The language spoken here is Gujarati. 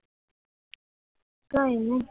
કાંઈ નહીં